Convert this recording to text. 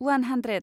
उवान hundred